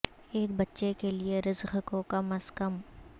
ایک بچے کے لئے رزق کو کم از کم